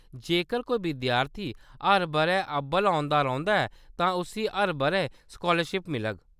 जेकर कोई विद्यार्थी हर बʼरै अब्बल औंदा रौंह्‌दा ऐ तां उस्सी हर बʼरै स्कालरशिप मिलग।